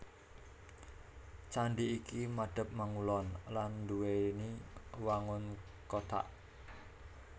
Candhi iki madhep mangulon lan nduwèni wangun kothak